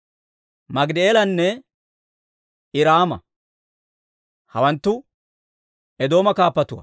Maagidi'eelanne Iraama. Hawanttu Eedooma kaappatuwaa.